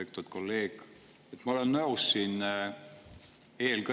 Lugupeetud kolleeg!